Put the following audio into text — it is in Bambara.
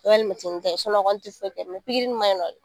O ye ta ye o kɔni ti foyi kɛ ma ɲinɔ.